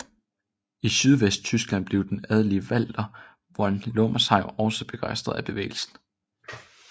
I sydvesttyskland blev den adelige Walter von Lomersheim også begejstret af bevægelsen